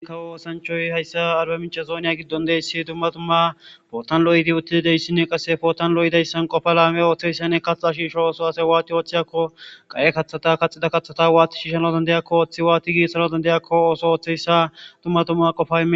ikka woosanchoy hayssa arba michazooniya giddon deyssi tumma tumma pootanlo7idi uttidi deyssinne qasse pootanlo7i dayssan qofa laame ooththeyssanne kaxa shiisho ooso ase waati ooththeyakko qaye kaththata kaxida kaththata waati shiishano dandayakko ooththi waati giitsana dandayakko ooso ooththeyssa tumma tumma qofay